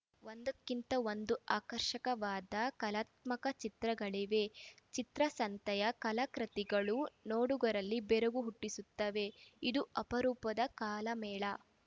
ಒಂದಕ್ಕಿಂತ ಒಂದು ಆಕರ್ಷಕವಾದ ಕಲಾತ್ಮಕ ಚಿತ್ರಗಳಿವೆ ಚಿತ್ರಸಂತೆಯ ಕಲಾಕೃತಿಗಳು ನೋಡುಗರಲ್ಲಿ ಬೆರಗು ಹುಟ್ಟಿಸುತ್ತವೆ ಇದು ಅಪರೂಪದ ಕಾಲ ಮೇಳ